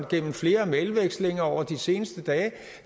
gennem flere mailudvekslinger over de seneste dage